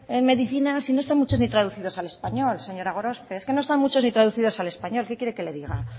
en medicina si no están mucho ni traducidos al español señora gorospe es que no están muchos ni traducidos al español qué quiere que le diga